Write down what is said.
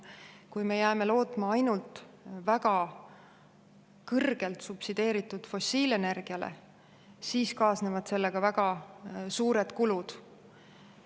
Kui me jääme lootma ainult väga kõrgelt subsideeritud fossiilenergiale, siis kaasnevad sellega väga suured kulud.